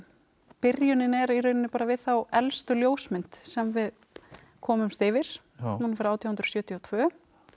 byrjunin er í raun við þá elstu ljósmynd sem við komumst yfir hún er frá átján hundruð sjötíu og tvö